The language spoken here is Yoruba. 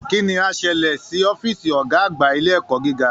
Kí ni á ṣẹlẹ̀ sí ọ́fíìsì Ọ̀gá àgbà ilé ẹ̀kọ́ gíga?